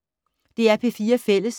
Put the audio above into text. DR P4 Fælles